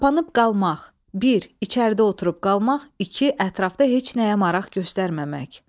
Qapanıb qalmak, bir içəridə oturub qalmaq, iki ətrafda heç nəyə maraq göstərməmək.